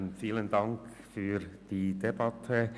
Vielen Dank für die Debatte.